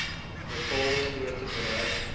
bepaalde grootte bereik